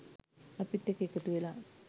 අපිත් එක්ක එකතු වෙලා